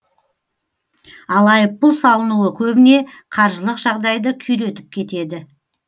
ал айыппұл салынуы көбіне қаржылық жағдайды күйретіп кетеді